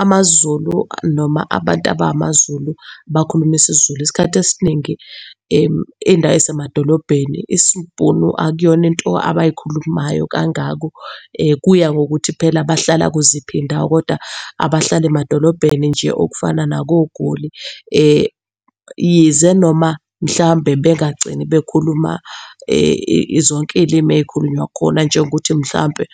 AmaZulu noma abantu abamaZulu bakhuluma isiZulu. Isikhathi esiningi iy'ndawo eyiemadolobheni isiBhunu akuyona into abayikhulumayo kangako. Kuya ngokuthi phela bahlala kuziphi indawo, koda abahlala emadolobheni nje okufana nakoGoli, yize noma mhlambe bengagcini bekhuluma zonke iy'limi ey'khulunywa khona. Njengokuthi mhlampe